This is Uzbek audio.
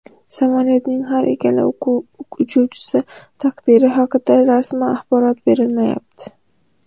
Samolyotning har ikkala uchuvchisi taqdiri haqida rasman axborot berilmayapti.